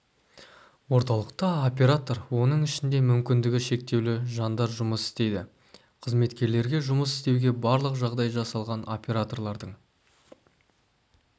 орталықта оператор оның ішінде мүмкіндігі шектеулі жандар жұмыс істейді қызметкерлерге жұмыс істеуге барлық жағдай жасалған операторлардың